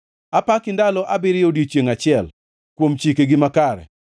Apaki ndalo abiriyo e odiechiengʼ achiel kuom chikegi makare.